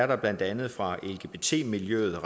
der blandt andet fra lgbt miljøets